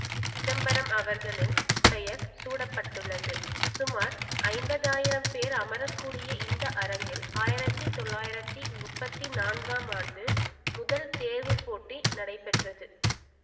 சிதம்பரம் அவர்களின் பெயர் சூட்ட பட்டுள்ளது சுமார் ஐம்பதாயிரம் பேர் அமரக்கூடிய இந்த அரங்கில் ஆயிரத்தி தொள்ளாயிரத்தி முப்பத்தி நான்காம் ஆண்டு முதல் தேர்வுப் போட்டி நடை பெற்றது